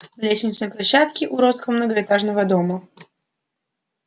на лестничной площадке уродского многоэтажного дома